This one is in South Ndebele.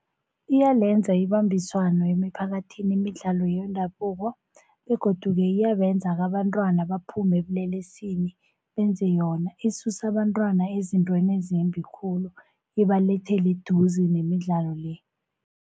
Iyalenza ibambiswano emiphakathini imidlalo yendabuko, begodu-ke iyabenza-ke abentwana baphume ebulelesini benze yona. Isusa abentwana ezintweni ezimbi khulu ibalethele eduze nemidlalo-le.